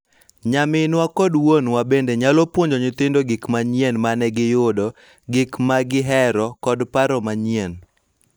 Nyaminwa kod wuonwa bende nyalo puonjo nyithindo gik manyien ma ne giyudo, gik ma gihero, kod paro manyien,